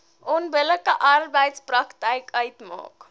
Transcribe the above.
onbillike arbeidspraktyk uitmaak